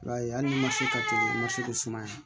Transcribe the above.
I b'a ye hali ni ma se ka to ma se k'o sumaya